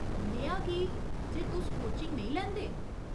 नेहा की , जे तुस कोचिंग नेईं लैंदे ?